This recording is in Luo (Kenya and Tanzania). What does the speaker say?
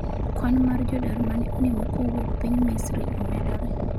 kwan mar jodar mane onimo kowuok piny Misri omedore